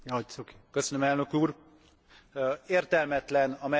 Értelmetlen a Mercosur tárgyalásokat tovább erőltetni.